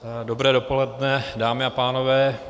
Dobré dopoledne, dámy a pánové.